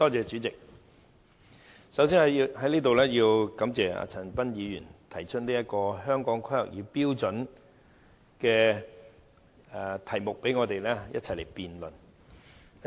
主席，首先在此要感謝陳恒鑌議員提出有關《香港規劃標準與準則》的議題，讓我們可一起辯論。